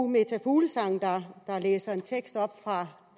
meta fuglsang der læste en tekst op for